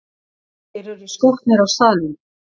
Þeir eru skotnir á staðnum!